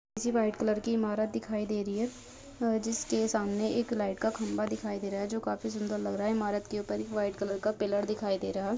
पीछे white colour की इमारत दिखाई दे रही है जिसके सामने एक लाइट का खंबा दिखाई दे रहा हैजो काफी सुंदर लग रहा है इमारत के ऊपर एक व्हाइट कलर का पिलर दिखाई दे रहा है।